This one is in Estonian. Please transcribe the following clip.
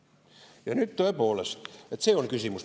Ja tõepoolest, see on küsimus.